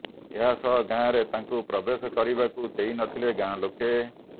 ଏହସହ ଗାଁରେ ତାଙ୍କୁ ପ୍ରବେଶ କରିବାକୁ ଦେଇ ନଥିଲେ ଗାଁ ଲୋକେ